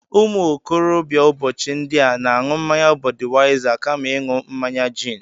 Ụmụ okorobịa ụbọchị ndị a na-aṅụ mmaya Budịwaịsa kama ịṅụ mmaya gin